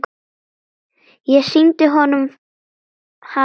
Ég sýndi honum hana fyrst.